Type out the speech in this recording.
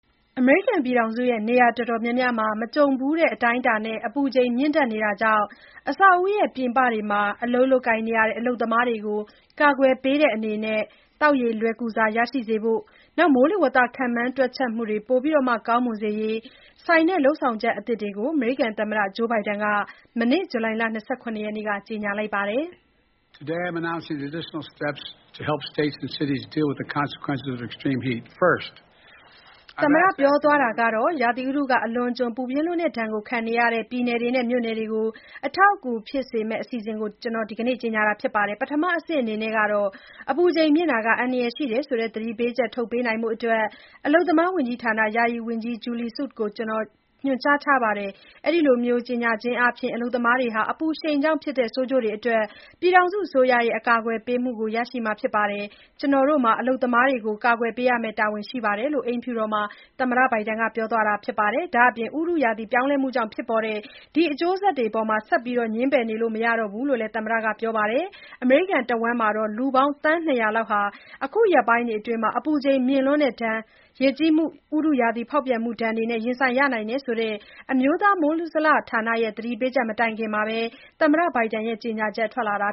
အမေရိကန်ပြည်ထောင်စု နေရာအတော်များများမှာ မကြုံဘူးတဲ့အတိုင်းအတာနဲ့ အပူချိန်မြင့်တက်နေတာကြောင့် အဆောက်အဦး ပြင်ပတွေမှာ အလုပ်လုပ်ကြရတဲ့ အလုပ်သမားတွေကို ကာကွယ်ပေးတဲ့အနေနဲ့ သောက်ရေ လွယ်ကူစွာ ရရှိစေရေးနဲ့ မိုးလေဝသ ခန့်မှန်း တွက်ချက်မှုတွေ ပိုမို ကောင်းမွန်ရေးတို့နဲ့ဆိုင်တဲ့ လုပ်ဆောင်ချက်အသစ်တွေကို သမ္မတဂျိုးဘိုင်ဒန်က မနေ့ ဇူလိုင်လ ၂၇ ရက်နေ့က ကြေညာလိုက်ပါတယ်။ “ရာသီဥတု အလွန်အကျွန် ပူပြင်းလွန်းတဲ့ဒဏ်ခံနေကြရတဲ့ ပြည်နယ်တွေနဲ့ မြို့နယ်တွေကို အထောက်အကူ ဖြစ်စေမယ့် အစီအစဉ်တွေကို ကျနော် ဒီနေ့ ကြေညာတာဖြစ်ပါတယ်။ ပထမအဆင့်အနေနဲ့ အပူချိန်မြင့်တာဟာ အန္တရာယ်ရှိတယ်ဆိုတဲ့ သတိပေးချက် ထုတ်ပြန်ပေးဖို့ အလုပ်သမားဝန်ကြီးဌာန ယာယီဝန်ကြီး Julie Su ကို ညွန်ကြားထားပါတယ်။ အဲဒီလို ကြေညာခြင်းအားဖြင့် အလုပ်သမားတွေဟာ အပူရှိန်ကြောင့်ဖြစ်တဲ့ ဆိုးကျိုးတွေအတွက် ပြည်ထောင်စုအစိုးရရဲ့ အကာကွယ်ပေးမှုကို ရရှိမှာ ဖြစ်ပါတယ်။ ကျနော်တို့ဟာ အလုပ်သမားတွေကို အကာကွယ်ပေးရမယ့် တာဝန်ရှိပါတယ်” လို့ အိမ်ဖြူတော်မှာ သမ္မတဘိုင်ဒန်က ပြောသွားတာပါ။ ဒါ့အပြင် ဥတုရာသီ ပြောင်းလဲမှုကြောင့် ဖြစ်ပေါ်တဲ့ ဒီအကျိုးသက်ရောက်မှုတွေကို ဆက်ပြီး ငြင်းပယ်နေလို့ မရနိုင်တော့ဘူးလို့လည်း သမ္မတဘိုင်ဒန်က ပြောခဲ့ပါတယ်။ အမေရိကန်တဝှန်း လူပေါင်း သန်း ၂၀၀ လောက်ဟာ အခုရက်ပိုင်းတွေအတွင်း အပူချိန်မြင့်လွန်းတဲ့ဒဏ်၊ ဒါမှမဟုတ် ရေကြီးမှု စတဲ့ ဥတုရာသီ ဖောက်ပြန်မှုဒဏ် တခုခုနဲ့ ရင်ဆိုင်ရနိုင်တယ်ဆိုတဲ့ အမျိုးသား မိုးဇလဌာနရဲ့ သတိပေးချက် ထွက်လာပြီး မကြာခင်မှာဘဲ သမ္မတ ဘိုင်ဒန် ကြေညာချက် ထွက်လာတ